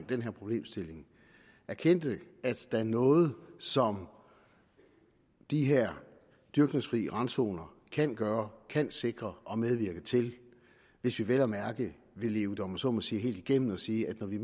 den her problemstilling erkendte at der er noget som de her dyrkningsfri randzoner kan gøre kan sikre og kan medvirke til hvis vi vel at mærke vil leve det om jeg så må sige helt igennem og sige at når vi